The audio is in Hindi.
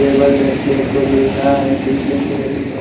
केवल देखने को मिल रहा है पीछे में हमें ब--